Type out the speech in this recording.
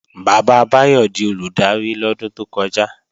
Bàbá Báyọ̀ di Olùdarí lọ́dún tó kọjá